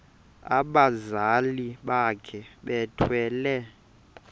abazali bakhe bethwele